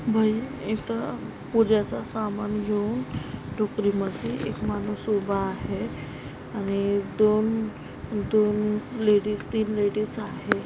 बाई इथ पुजेच सामान घेवून टोकरी मध्ये एक माणूस उबा आहे आणि दोन दोन लेडीज तीन लेडीज आहे.